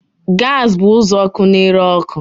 Gas bụ uzuọkụ na-ere ọkụ